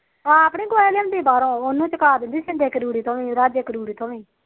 ਆਪ ਨੀ ਕੁਛ ਲਿਉਂਦੀ ਬਾਹਰੋ ਉਹਨੂੰ ਚਕਾ ਦਿੰਦੀ ਸਿੰਦੇ ਰੁੜੀ ਰਾਜੇ ਕਰੂੜੀ ਤੋ ਵੀ